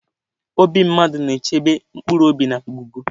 Obi mmadụ na-echebe mkpụrụobi na ngụgụ.